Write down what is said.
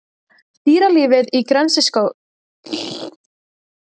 Dýralífið Í greniskógunum er svipað og annars staðar á víðáttum greniskóga austar í Evrasíu.